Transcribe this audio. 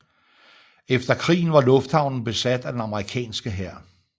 Efter krigen var lufthavnen besat af den amerikanske hær